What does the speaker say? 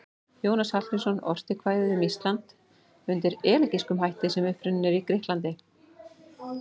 Jónas Hallgrímsson orti kvæðið Ísland undir elegískum hætti sem upprunninn er í Grikklandi.